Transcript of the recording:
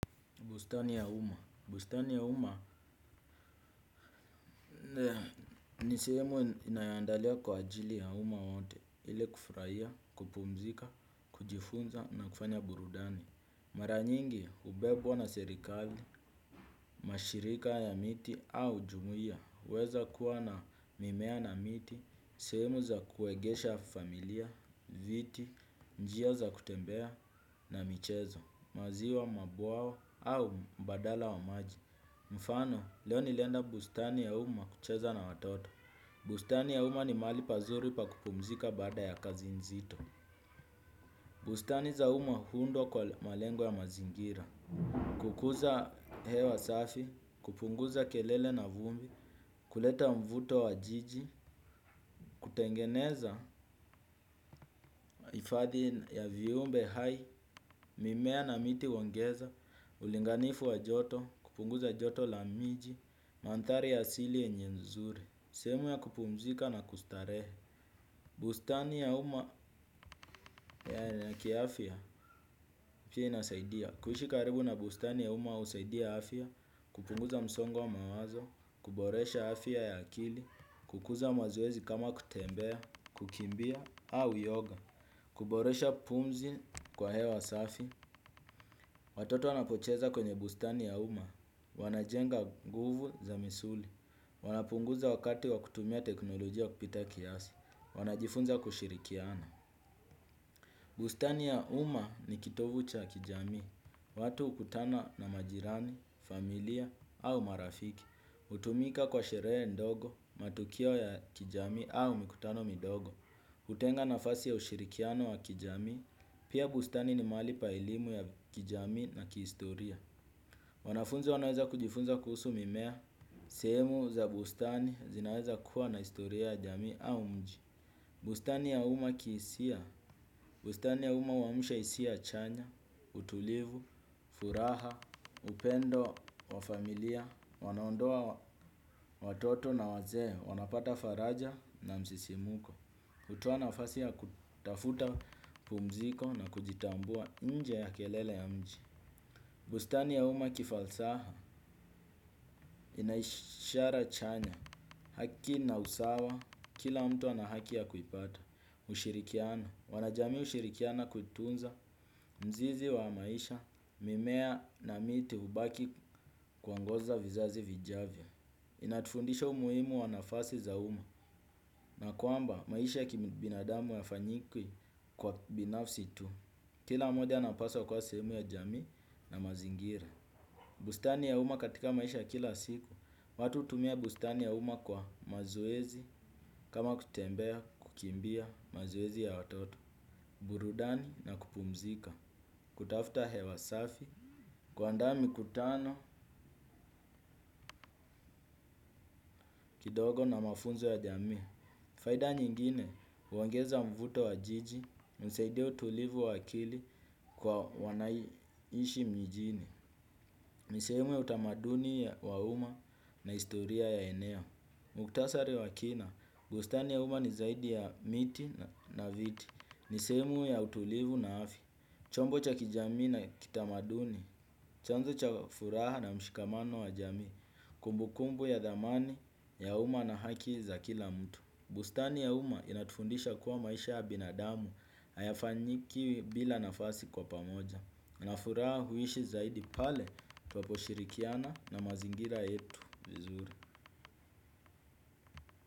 Bustani ya umma. Bustani ya uma ni sehemu inayoandalia kwa ajili ya umma wote ili kufurahia, kupumzika, kujifunza na kufanya burudani. Mara nyingi hubebwa na serikali, mashirika ya miti au jumuia. Yaweza kuwa na mimea na miti, sehemu za kuegesha familia, viti, njia za kutembea na michezo, maziwa mabwawa au mbadala wa maji. Mfano, leo nilienda bustani ya umma kucheza na watoto. Bustani ya umma ni mahali pazuri pa kupumzika baada ya kazi nzito. Bustani za umma huundwa kwa malengo ya mazingira. Kukuza hewa safi, kupunguza kelele na vumbi, kuleta mvuto wa jiji. Kutengeneza hiifadhi ya viumbe hai, mimea na miti huongeza ulinganifu wa joto, kupunguza joto la miji, mandhari asili yenye nzuri. Sehemu ya kupumzika na kustarehe. Bustani ya umma kiafya pia inasaidia kuishi karibu na bustani ya umma husaidia afia. Kupunguza msongo mawazo kuboresha afya ya akili kukuza mazoezi kama kutembea kukimbia au yoga kuboresha pumzi kwa hewa safi watoto wanapucheza kwenye bustani ya umma. Wanajenga nguvu za misuli. Wanapunguza wakati wa kutumia teknolojia kupita kiasi. Wanajifunza kushirikiana. Bustani ya umma ni kitovu cha kijamii. Watu hukutana na majirani, familia au marafiki hutumika kwa sherehe ndogo, matukio ya kijami au mikutano midogo hutenga nafasi ya ushirikiano wa kijamii. Pia bustani ni mahali pa elimu ya kijamii na kihistoria. Wanafunzi wanaweza kujifunza kuhusu mimea. Sehemu za bustani zinaweza kuwa na historia ya jamii au mji. Bustani ya umma kihisia, bustani ya umma huamsha hiisia chanya, utulivu, furaha, upendo wa familia, wanandoa watoto na wazee, wanapata faraja na msisimuko, hutoa nafasi ya kutafuta pumziko na kujitambua nje ya kelele ya mji. Bustani ya umma kifalsafa, ina ishara chanya, haki na usawa, kila mtu ana haki ya kuipata, ushirikiano wanajamii ushirikiana kuitunza, mzizi wa maisha, mimea na miti hubaki kuongoza vizazi vijavyo. Inatufundisha umuhimu wa nafasi za umma, na kwamba maisha kibinadamu hayafanyiki kwa binafsi tu, kila mmoja anapaswa kuwa sehemu ya jamii na mazingira. Bustani ya umma katika maisha kila siku, watu hutumia bustani ya umma kwa mazoezi kama kutembea kukimbia mazuezi ya watoto, burudani na kupumzika, kutafuta hewa safi, kuandaaa mikutano, kidogo na mafunzo ya jami. Faida nyingine, huongeza mvuto wa jiji, husaidia utulivu wa akili kwa wanaoishi mijini. Ni sehemu ya utamaduni wa umma na historia ya eneo. Muktasari wa kina, bustani ya umma ni zaidi ya miti na viti. Ni sehemu ya utulivu na afya chombo cha kijami na kitamaduni, chanzo cha furaha na mshikamano wa jamii, kumbukumbu ya thamani ya umma na haki za kila mtu. Bustani ya umma inatufundisha kuwa maisha ya binadamu, hayafanyiki bila nafasi kwa pamoja. Na furaha huishi zaidi pale, tunaposhirikiana na mazingira yetu.